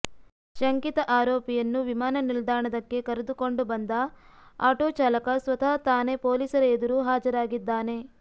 ಶಂಕಿತ ಆರೋಪಿಯನ್ನು ವಿಮಾನ ನಿಲ್ದಾಣದಕ್ಕೆ ಕರೆದುಕೊಂಡ ಬಂದ ಆಟೋ ಚಾಲಕ ಸ್ವತಃ ತಾನೇ ಪೊಲೀಸರ ಎದುರು ಹಾಜರಾಗಿದ್ದಾನೆ